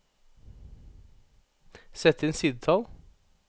Sett inn sidetall